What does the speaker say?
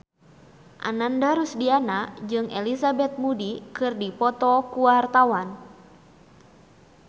Ananda Rusdiana jeung Elizabeth Moody keur dipoto ku wartawan